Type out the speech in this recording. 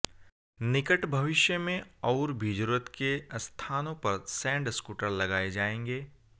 निकट भविष्य में और भी जरूरत के स्थानों पर सैंड स्कूटर लगाए जाएंगे